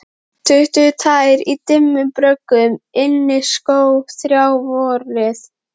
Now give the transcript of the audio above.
Allt í kring réði auðnin ríkjum.